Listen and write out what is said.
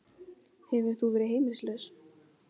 Hefur þú verið heimilislaus?